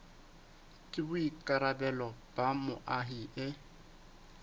ke boikarabelo ba moahi e